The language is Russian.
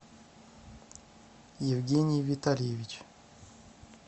евгений витальевич